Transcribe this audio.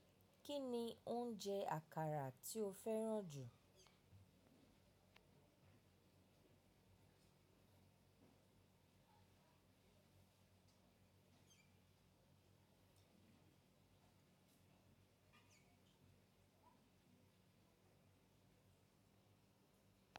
Kí ni oúnjẹ àkàrà tí o fẹ́ràn jù?